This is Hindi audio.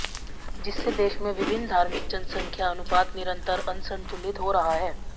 जिससे देश में विभिन्न धार्मिक जनसँख्या अनुपात निरंतर असंतुलित हो रहा है